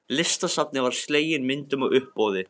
Listasafninu var slegin myndin á uppboði.